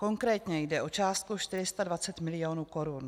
Konkrétně jde o částku 420 milionů korun.